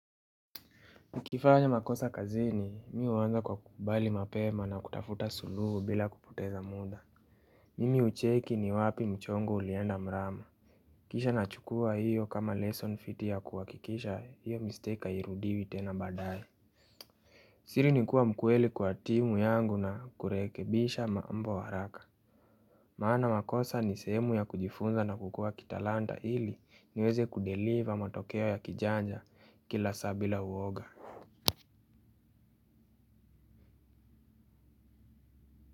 Ukifanya makosa kazini mi huanza kwa kukubali mapema na kutafuta suluhu bila kupoteza muda. Mimi hucheki ni wapi mchongo ulienda mrama. Kisha nachukua hiyo kama lesson fiti ya kuhakikisha hiyo mistake hairidiwi tena baadae. Siri ni kuwa mkweli kwa timu yangu na kurekebisha mambo haraka. Maana makosa ni sehemu ya kujifunza na kukuwa kitalanta ili niweze kudeliver matokeo ya kijanja kila saa bila uwoga.